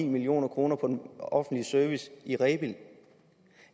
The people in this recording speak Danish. million kroner på den offentlige service i rebild